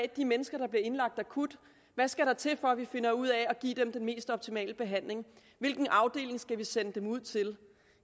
de mennesker der bliver indlagt akut skal til for at vi finder ud af at give dem den mest optimale behandling og hvilken afdeling vi skal sende dem ud til